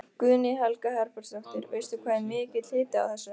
Guðný Helga Herbertsdóttir: Veistu hvað er mikill hiti á þessu?